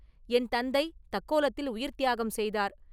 என் தந்தை தக்கோலத்தில் உயிர்த் தியாகம் செய்தார்.